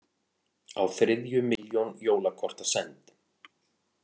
Á þriðju milljón jólakorta send